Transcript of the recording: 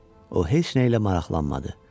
O heç nə ilə maraqlanmadı.